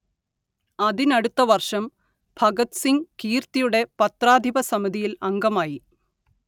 അതിനടുത്ത വർഷം ഭഗത് സിംഗ് കീർത്തിയുടെ പത്രാധിപ സമിതിയിൽ അംഗമായി